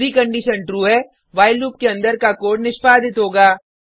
यदि condition true है while loop के अंदर का कोड निष्पादित होगा